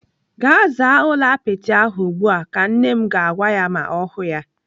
"Gaa zaa ụlọ apịtị ahụ ugbu a! " Ka nne m ga-agwa ya ma ọ hụụ ya.